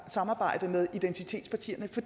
samarbejde med identitetspartierne for